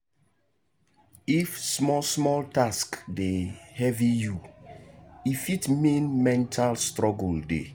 if small small task dey heavy you e fit mean mental struggle dey.